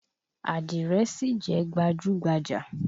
Àdìrẹ sì jẹ́ gbajúgbajà.